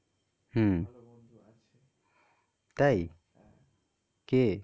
হম তাই কে?